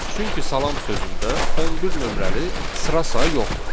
Çünki salam sözündə 11 nömrəli sıra sayı yoxdur.